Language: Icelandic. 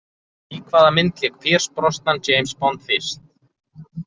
Í hvaða mynd lék Pierce Brosnan James Bond fyrst?